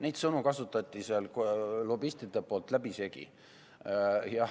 Neid sõnu kasutasid lobistid seal läbisegi.